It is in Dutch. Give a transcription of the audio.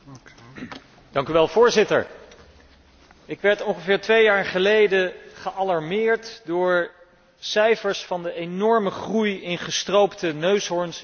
Voorzitter, ik werd ongeveer twee jaar geleden gealarmeerd door cijfers over de enorme groei van gestroopte neushoorns in Zuid Afrika.